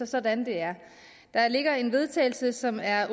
sådan det er der ligger et vedtagelse som er